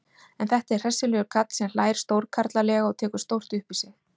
En þetta er hressilegur karl sem hlær stórkarlalega og tekur stórt upp í sig.